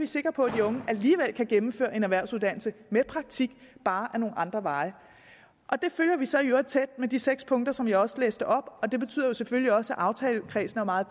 sikre på at de unge alligevel kan gennemføre en erhvervsuddannelse med praktik bare ad nogle andre veje og det følger vi så i øvrigt tæt med de seks punkter som jeg også læste op og det betyder jo selvfølgelig også at aftalekredsen er meget